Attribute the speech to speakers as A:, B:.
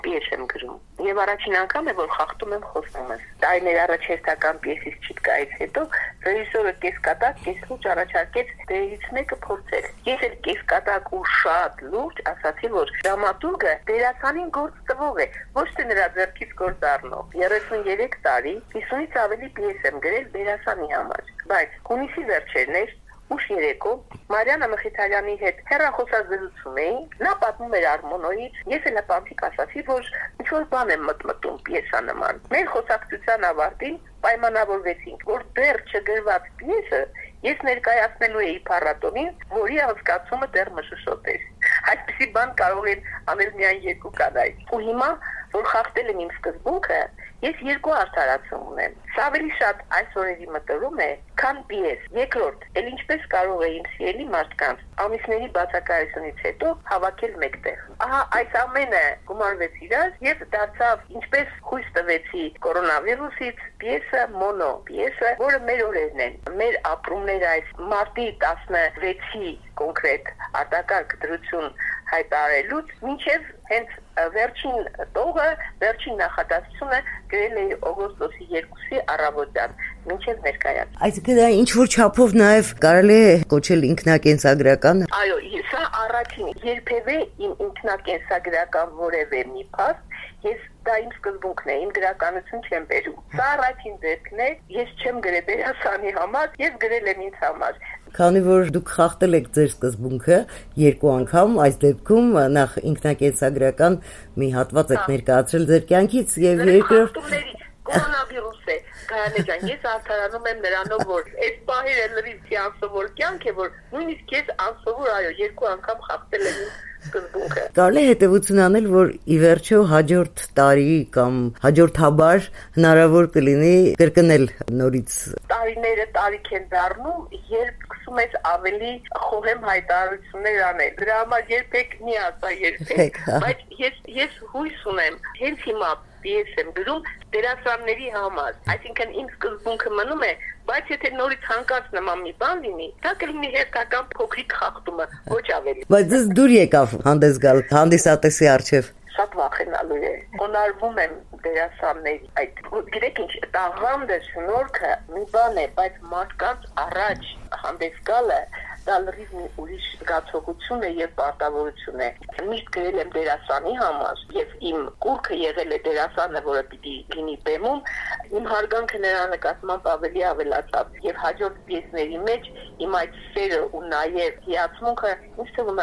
A: պիես եմ գրում: Եվ առաջին անգամ է, որ խախտում եմ խոստումս: Տարիներ առաջ հերթական պիեսից չիտկայից հետո ռեժիսորը կեսկատակ-կեսլուրջ առաջարկեց փորձել դերերից մեկը: Ես էլ կեսկատակ ու շատ լուրջ ասացի, որ դրամատուրգը դերասանին գործ տվող է, ոչ թե նրա ձեռքից գործ առնող: 33 տարի 50-ից ավելի պիես եմ գրել դերասանի համար: Բայց` հունիսի վերջերն էր, ուշ երեկո, Մարիաննա Մխիթարյանի հետ հեռախոսազրուցում էինք, նա պատմում էր «Արմմոնո»-ից, ես էլ հպանցիկ ասացի, որ ինչ-որ բան եմ մտմտում պիեսանման: Մեր խոսակցության ավարտին պայմանավորվեցինք, որ դեռ չգրված պիեսը ես ներկայացնելու էի փառատոնին, որի անցկացումը դեռ մշուշոտ էր: Այսպիսի բան կարող են անել միայն երկու կանայք: Հիմա, որ խախտել եմ իմ սկզբունքը, ես երկու արդարացում ունեմ: Սա ավելի շատ այս օրերի մտորում է, քան պիես: Երկրորդ, էլ ինչպե՞ս կարող էի իմ սիրելի մարդկանց ամիսների բացակայությունից հետո հավաքել մեկտեղ: Ահա այս ամենը գումարվեց իրար, և դարձավ «Ինչպես խույս տվեցի կորոնավիրուսից» մոնոպիեսը, որը մեր օրերն են, մեր ապրումները մարտի 16-ին արտակարգ դրություն հայտարարելուց մինչև վերջին տող, վերջին նախադասությունը գրել էի օգոստոսի 2-ի առավոտյան, ներկայացումից անմիջապես առաջ:
B: Այսինքն` դա ինչ-որ չափով կարելի է կոչել նաև ինքնակենսագրակա՞ն:
A: Այո: Երբևէ ինքնակենսագրական որևէ մի փաստ, դա իմ սկզբունքն է, իմ գրականություն չեմ բերում: Սա առաջին դեպքն է. ես չեմ գրել դերասանի համար, ես գրել եմ ինձ համար:
B: Քանի որ Դուք խախտել եք Ձեր սկզբունքը երկու անգամ...
A: Կորոնավիրուս է... ես արդարանում եմ նրանով, որ էս պահերը լրիվ մի անսովոր կյանք է, որ նույնիսկ ես անսովոր, այո, երկու անգամ խախտել եմ իմ սկզբունքը:
B: Կարելի է հետևություն անել, որ ի վերջո հաջորդ տարի կամ հաջորդաբար հնարավոր կլինի կրկնել:
A: Տարիները տարիք են դառնում, երբ սկսում ես ավելի խոհեմ հայտարարություններ անել: Դրա համար երբեք մի ասա երբեք: Բայց ես հույս ունեմ. հենց հիմա պիես եմ գրում դերասանների համար, այսինքն` իմ սկզբունքը մնում է: Բայց եթե նորից նման մի բան լինի, դա կլինի հերթական փոքրիկ խախտումը: Ոչ ավելի:
B: Բայց Ձեզ դուր եկավ հանդես գալ հանդիսատեսի առջև:
A: Շատ վախենալու է: Խոնարկվում եմ դերասանների առջև: Գիտեք ինչ, տաղանդը, շնորհքը մի բան է, բայց մարդկանց առաջ հանդես գալը դա լրիվ ուրիշ զգացողություն է և պարտավորություն է: Միշտ գրել եմ դերասանի համար, և իմ կուռք եղել է դերասանը, որը պիտի լինի բեմում: Իմ հարգանքը նրա նկատմամբ ավելի ավելացավ: Եվ իմ հաջորդ պիեսների մեջ իմ այդ սերը և հիացմունքը, ինձ թվում